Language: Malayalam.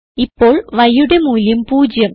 ഇപ്പോൾ yയുടെ മൂല്യം 0